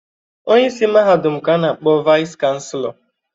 Onyeisi mahadum ka a na-akpọ Vaịsị chanselọ.